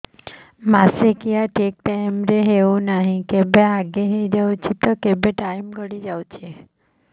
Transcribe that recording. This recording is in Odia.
ମାସିକିଆ ଠିକ ଟାଇମ ରେ ହେଉନାହଁ କେବେ ଆଗେ ହେଇଯାଉଛି ତ କେବେ ଟାଇମ ଗଡି ଯାଉଛି